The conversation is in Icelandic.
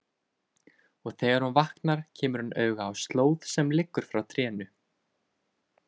Og þegar hún vaknar kemur hún auga á slóð sem liggur frá trénu.